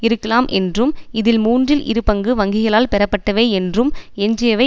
இருக்கலாம் என்றும் இதில் மூன்றில் இரு பங்கு வங்கிளால் பெறப்பட்டவை என்றும் எஞ்சியவை